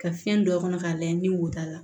Ka fiɲɛ don a kɔnɔ k'a lajɛ ni woto la